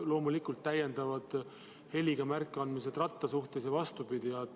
Loomulikult on jalgratta puhul võimalik ka heliga märku anda.